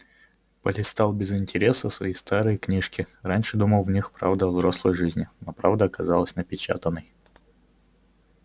полистал без интереса свои старые книжки раньше думал в них правда о взрослой жизни но правда оказалась непечатной